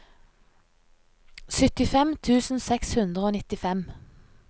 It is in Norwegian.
syttifem tusen seks hundre og nittifem